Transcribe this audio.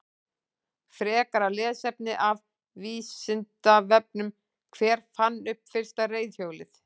Frekara lesefni af Vísindavefnum: Hver fann upp fyrsta reiðhjólið?